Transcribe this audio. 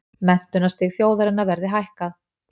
Menntunarstig þjóðarinnar verði hækkað